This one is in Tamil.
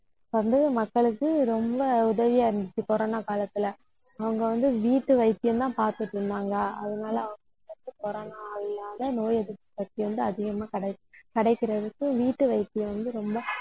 வந்து மக்களுக்கு ரொம்ப உதவியா இருந்துச்சு, corona காலத்துல அவங்க வந்து, வீட்டு வைத்தியம்தான் பாத்துட்டிருந்தாங்க. அதனால corona நோய் எதிர்ப்பு சக்தி வந்து அதிகமா கிடைக்~ கிடைக்கிறதுக்கு வீட்டு வைத்தியம் வந்து ரொம்ப